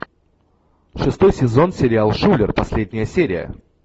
шестой сезон сериал шулер последняя серия